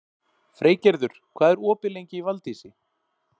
Freygerður, hvað er opið lengi í Valdís?